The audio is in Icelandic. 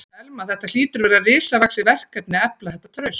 Telma: Þetta hlýtur að vera risavaxið verkefni að efla þetta traust?